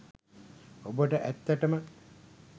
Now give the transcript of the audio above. ඔබට ඇත්තටම